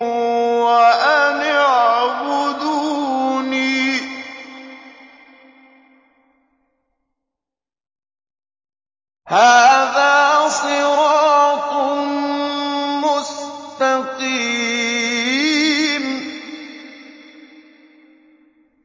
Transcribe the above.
وَأَنِ اعْبُدُونِي ۚ هَٰذَا صِرَاطٌ مُّسْتَقِيمٌ